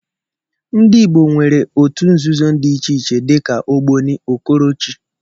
Ndi Igbo nwéré ótụ ǹzùzò dị iche iche dika ogboni, okorochi wdg.